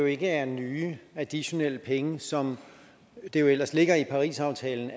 ikke er nye additionelle penge som det jo ellers ligger i parisaftalen